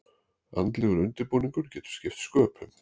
Andlegur undirbúningur getur skipt sköpum.